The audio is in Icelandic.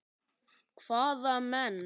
Hvaða menn?